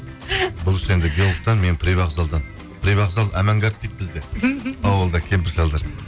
бұл кісі енді геологтан мен привокзалдан привокзал амангард дейді бізде ауылда кемпір шалдар